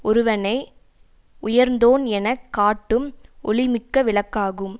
ஒருவனை உயர்ந்தோன் என காட்டும் ஒளிமிக்க விளக்காகும்